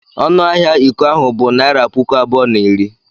Ọnụ ahịa iko ahụ bụ naịra puku abụọ na iri.